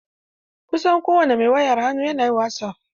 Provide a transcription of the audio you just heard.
Kusan kowane mai wayar hannu na yin wasof.